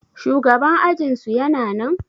shugaban ajinsu yana nan?